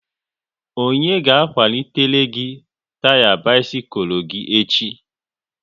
Onye ga akwalitele gị taya bisikul gị echi?